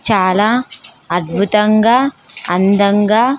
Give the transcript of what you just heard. చాలా అద్భుతంగా అందంగా.